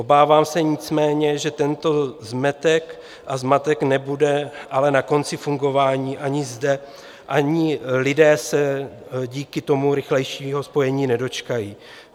Obávám se nicméně, že tento zmetek a zmatek nebude ale na konci fungování ani zde, ani lidé se díky tomu rychlejšího spojení nedočkají.